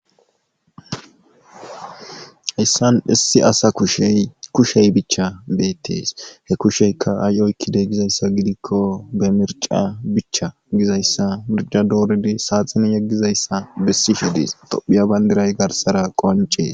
Haysan issi asa kushey kushey bicha betes, he kusheykka ay oykides gizaysa gidikon be mirca bica gizaysa mirca dorid saxineni yegishe dizaysa beses, tophiya bandirayka garsera qonces.